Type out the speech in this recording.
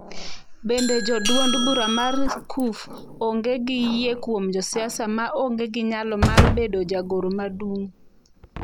Bende jo duond bura mar Cuf onge gi yie kuom josiasa ma onge gi nyalo mar bedo jagoro madung?